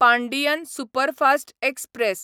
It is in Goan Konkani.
Pandian superfast express